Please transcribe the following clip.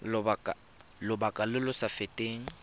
lobaka lo lo sa feteng